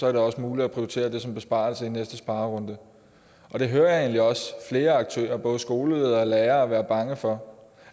er det også muligt at prioritere det som besparelse i næste sparerunde det hører jeg egentlig også flere aktører både skoleledere og lærere være bange for